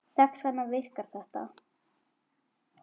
Þess vegna virkar þetta.